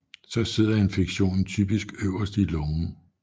Så sidder infektionen typisk øverst i lungen